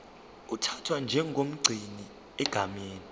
uthathwa njengomgcini egameni